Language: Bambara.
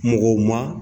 Mɔgɔw ma